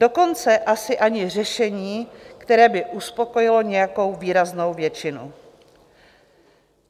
Dokonce asi ani řešení, které by uspokojilo nějakou výraznou většinu.